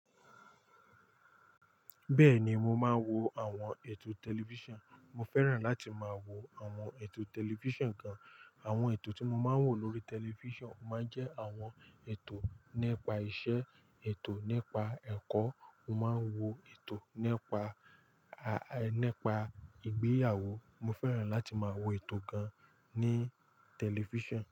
Bẹ́ẹ̀ni, mo máa ń wo àwọn ètò tẹlifíṣàn. Mo fẹ́ràn láti máa wo àwọn ètò tẹlifíṣàn gan. Àwọn ètò tí mo máa ń wò lórí tẹlifíṣàn máa ń jẹ́ àwọn ètò nípa iṣẹ́, ètò nípa ẹ̀kọ́, mo máa ń wo ètò nípa, a, nípa ìgbéyàwó. Mo fẹ́ràn láti máa wo ètò gan ní tẹlifíṣàn.